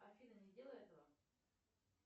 афина не делай этого